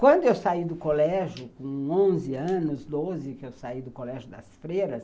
Quando eu saí do colégio, com onze anos, doze, que eu saí do colégio das freiras,